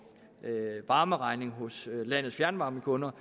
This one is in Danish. varmeregningen hos landets fjernvarmekunder